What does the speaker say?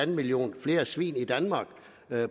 millioner flere svin i danmark